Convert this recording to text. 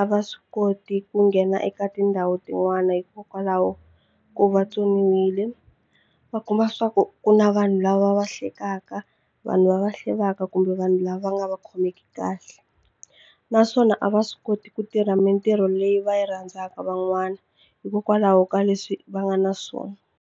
a va swi koti ku nghena eka tindhawu tin'wana hikokwalaho ko va tsoniwile va kuma swa ku ku na vanhu lava va hlekekaka vanhu va va hlevaka kumbe vanhu lava nga va khomeki kahle naswona a va swi koti ku tirha mitirho leyi va yi rhandzaka van'wana hikokwalaho ka leswi va nga na swona.